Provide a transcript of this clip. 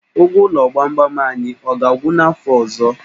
Ụgwọ ụlọ gbamgbam anyị, ọ ga-agwụ n'afọ ọzọ?